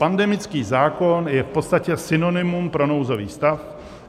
Pandemický zákon je v podstatě synonymum pro nouzový stav.